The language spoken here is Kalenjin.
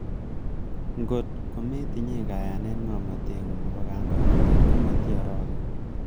Ng'ot kometinyen kayanet ng'omnoteng'ung nebo kandoinatet ,ko motioroken.